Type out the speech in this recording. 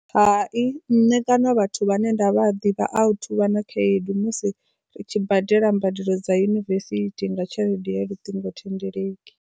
Hai, nṋe kana vhathu vhane nda vha ḓivha a vha na khaedu musi ri tshi badela mbadelo dza university nga tshelede ya luṱingothendeleki.